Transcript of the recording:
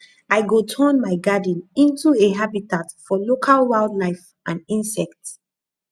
i go turn my garden into a habitat for local wildlife and insects